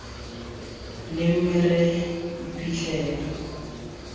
ne mme re tla iphitlhela